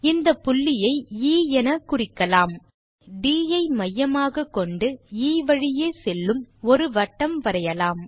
இந்த புள்ளியை எ எனக்குறிக்கலாம் ட் ஐ மையமாக கொண்டு எ வழியே செல்லும் ஒரு வட்டம் வரையலாம்